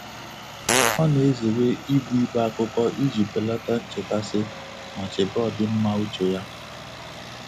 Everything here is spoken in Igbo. Ọ́ nà-èzéré íbù íbé ákụ́kọ́ ìjí bèlàtà nchékàsị́ mà chébé ọ́dị́mmá úchè yá.